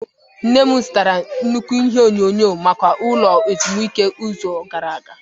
Nne m zụtara nnukwu ihe onyonyo maka ụlọ ezumike n'izu gara aga.